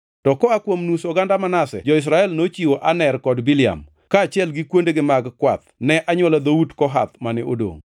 To koa kuom nus oganda Manase jo-Israel nochiwo Aner kod Biliam, kaachiel gi kuondegi mag kwath ne anywola dhout Kohath mane odongʼ.